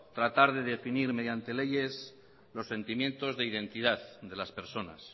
tratar de definir mediantes leyes los sentimiento de identidad de las personas